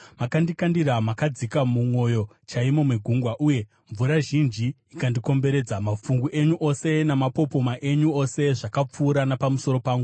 Makandikandira makadzika, mumwoyo chaimo megungwa, uye mvura zhinji ikandikomberedza; mafungu enyu ose namapopoma enyu ose zvakapfuura napamusoro pangu.